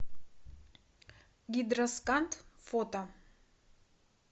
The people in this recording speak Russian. гидросканд фото